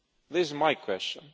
This is my question.